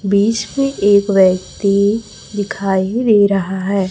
बीच में एक व्यक्ति दिखाई दे रहा है।